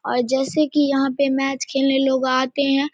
और जैसे की यहां पे मैच खेलने लोग आते हैं।